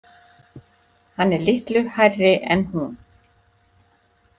Hann er litlu hærri en hún.